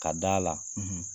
Ka d'a la,